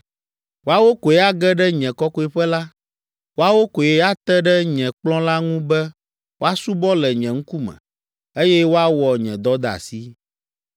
Woawo koe age ɖe nye Kɔkɔeƒe la. Woawo koe ate ɖe nye kplɔ̃ la ŋu be woasubɔ le nye ŋkume, eye woawɔ nye dɔdeasi.’